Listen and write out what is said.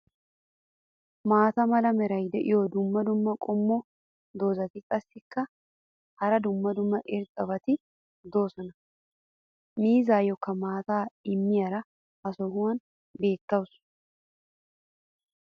maata mala meray diyo dumma dumma qommo dozzati qassikka hara dumma dumma irxxabati doosona. miizziyaakka maattaa immiyaara ha sohuwan beetawusu.